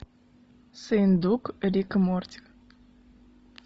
сыендук рик и морти